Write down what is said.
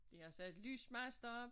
De har sat lysmaster om